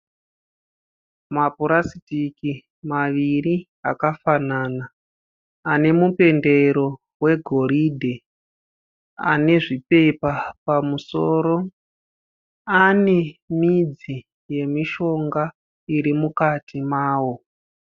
Mapurasitiki maviri akafanana. Ane mupendero wegoridhe . Ane zvipepa pamusoro. Ane midzi yemishonga iri mukati mawo.